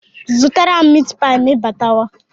Zụtara m mitipịa ma ịbatawa?